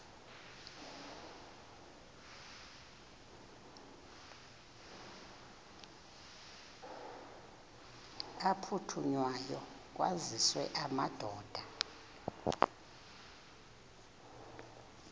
aphuthunywayo kwaziswe amadoda